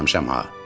Ölməmişəm ha.